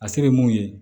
A se ye mun ye